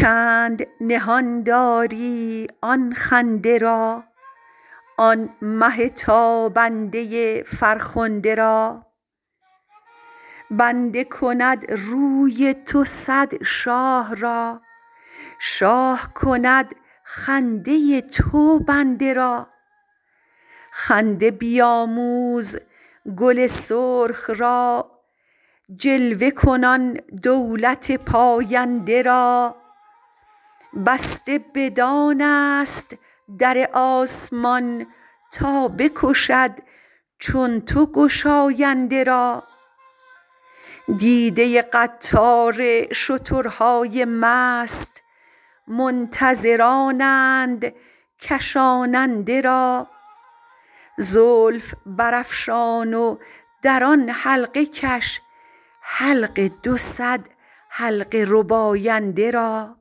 چند نهان داری آن خنده را آن مه تابنده فرخنده را بنده کند روی تو صد شاه را شاه کند خنده تو بنده را خنده بیآموز گل سرخ را جلوه کن آن دولت پاینده را بسته بدان ست در آسمان تا بکشد چون تو گشاینده را دیده قطار شترهای مست منتظرانند کشاننده را زلف برافشان و در آن حلقه کش حلق دو صد حلقه رباینده را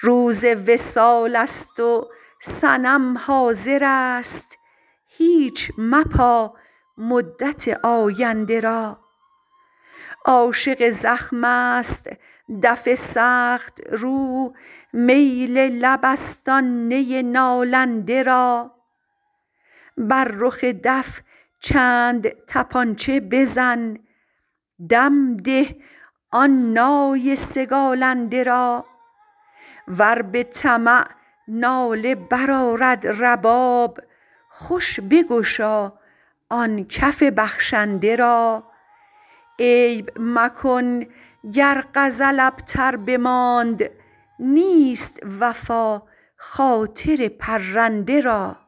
روز وصال ست و صنم حاضرست هیچ مپا مدت آینده را عاشق زخم ست دف سخت رو میل لب ست آن نی نالنده را بر رخ دف چند طپانچه بزن دم ده آن نای سگالنده را ور به طمع ناله برآرد رباب خوش بگشا آن کف بخشنده را عیب مکن گر غزل ابتر بماند نیست وفا خاطر پرنده را